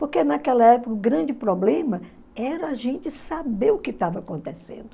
Porque naquela época o grande problema era a gente saber o que estava acontecendo.